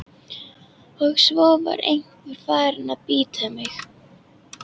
Og svo var einveran farin að bíta mig.